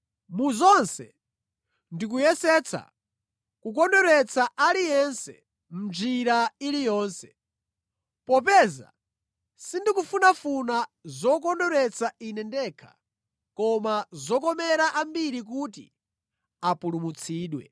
Mu zonse ndikuyesetsa kukondweretsa aliyense mʼnjira iliyonse. Popeza sindikufunafuna zokondweretsa ine ndekha koma zokomera ambiri kuti apulumutsidwe.